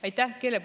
Aitäh!